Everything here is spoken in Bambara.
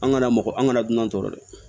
An kana mɔgɔ an kana dunan tɔɔrɔ dɛ